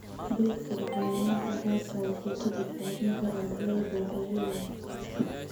Beegsiga cayayaanka gaarka ah wuxuu ka badbaadin karaa dalagyada waxyeello weyn.